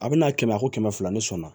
A bɛ n'a kɛmɛ a ko kɛmɛ fila ne sɔnna